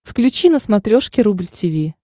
включи на смотрешке рубль ти ви